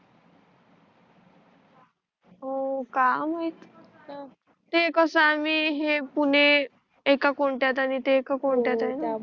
हो का माहि ते कस मी हे पुणे एका कोण्तत्यात आणि ते एका कोण्तत्यात आहे